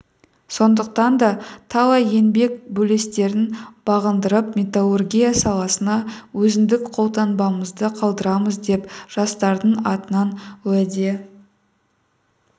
сондықтан да талай еңбек белестерін бағындырып металлургия саласына өзіндік қолтаңбамызды қалдырамыз деп жастардың атынан уәде